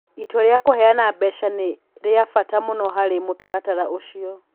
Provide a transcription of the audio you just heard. Itua rĩa kũheana mbeca nĩ rĩa bata mũno harĩ mũtaratara ũcio.